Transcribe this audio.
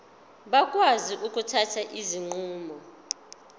bakwazi ukuthatha izinqumo